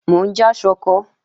Mò ń já ṣọkọ